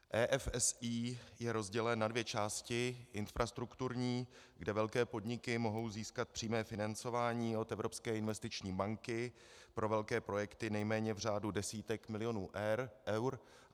EFSI je rozdělen na dvě části: infrastrukturní, kde velké podniky mohou získat přímé financování od Evropské investiční banky pro velké projekty nejméně v řádu desítek milionů eur.